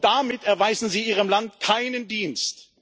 Damit erweisen Sie Ihrem Land keinen Dienst!